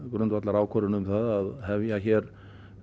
grundvallarákvörðun um það að hefja hér